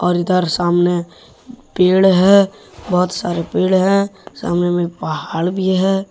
और इधर सामने पेड़ है बहुत सारे पेड़ हैं सामने में पहाड़ भी है।